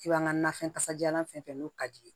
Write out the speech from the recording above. I b'an ka nafɛn kasajalan fɛn fɛn n'o ka di ye